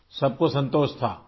سب کو اطمینان تھا